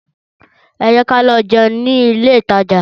Ẹ jẹ́ ká lọ jẹun nílé ìtajà